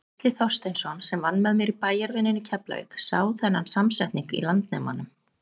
Gísli Þorsteinsson, sem vann með mér í bæjarvinnunni í Keflavík, sá þennan samsetning í Landnemanum.